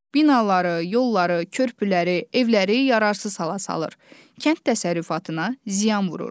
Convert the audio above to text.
Binaları, yolları, körpüləri, evləri yararsız hala salır, kənd təsərrüfatına ziyan vurur.